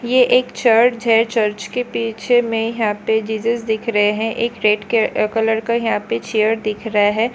यह एक चर्च है चर्च के पीछे में यहां पे जीसस दिख रहे हैं एक रेट के कलर का यहां पर चेयर दिख रहा है।